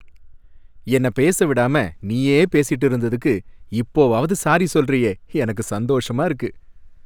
என்ன பேசவே விடாம நீயே பேசிட்டு இருந்ததுக்கு இப்போவாவது சாரி சொல்றியே, எனக்கு சந்தோஷமா இருக்கு.